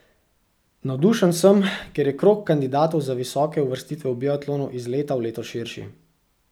Navdušen sem, ker je krog kandidatov za visoke uvrstitve v biatlonu iz leta v leto širši.